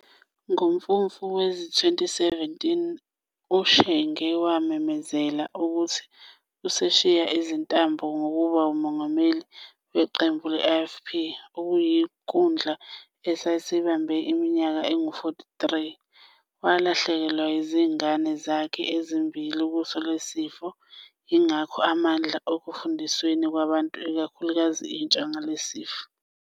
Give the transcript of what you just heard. NgoMfumfu wezi-2017 uShenge wamemezela ukuthi useshiya izintambo zokuba nguMongameli waqembu le-IFP, okuyikhundla asesibambe iminyaka engama-43. Walahlekelwa inzigane zakhe ezimbili kuso lesisifo yingakho emandla ekufundisweni kwabantu ikhulukazi intsha ngaso lesi sifo.